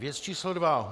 Věc číslo dva.